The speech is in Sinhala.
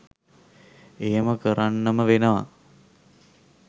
එහෙම කරන්නම වෙනවා.